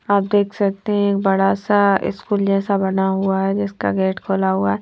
आप देख सकते है एक बड़ा सा स्कूल जैसा बना हुआ है जिसका गेट खुला हुआ है।